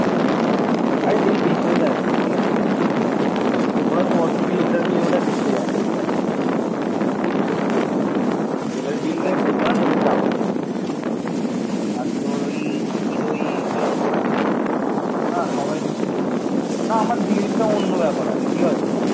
না আমার দিদিরটা অন্য ব্যাপার আছে ঠিক আছে